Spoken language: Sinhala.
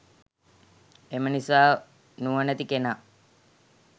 එම නිසා නුවණැති කෙනා